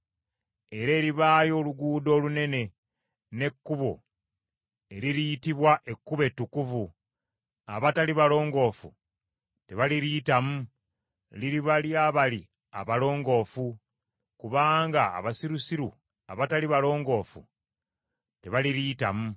Era eribaayo oluguudo olunene, n’ekkubo, eririyitibwa Ekkubo Ettukuvu. Abatali balongoofu tebaliriyitamu, liriba ly’abali abalongoofu, kubanga abasirusiru abatali balongoofu tebaliriyitamu.